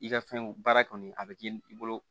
I ka fɛnw baara kɔni a bɛ k'i bolo